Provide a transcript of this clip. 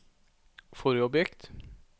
forrige objekt